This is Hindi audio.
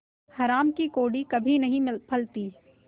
हराम की कौड़ी कभी नहीं फलती